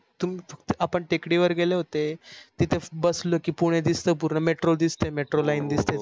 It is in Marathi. आपण टेकडीवर गेलो होते तिथ बसलो गेले कि पुणे दिसते पूर्ण metro दिसते metro line दिसते.